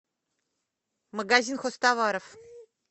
магазин хозтоваров